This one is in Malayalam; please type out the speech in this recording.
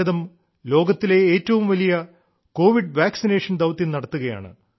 ഇന്ന് ഭാരതം ലോകത്തിലെ ഏറ്റവും വലിയ കോവിഡ് വാക്സിനേഷൻ ദൌത്യം നടത്തുകയാണ്